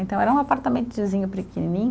Então era um apartamentozinho pequenininho.